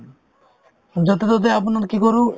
য'তে-ত'তে আপোনাৰ কি কৰো